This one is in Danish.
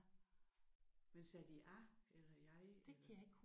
Ja men sagde de a eller jeg? Eller?